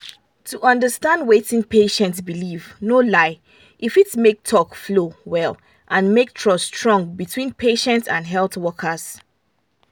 to understand wetin patient believe no lie e fit make talk flow well and make trust strong between patient and health workers.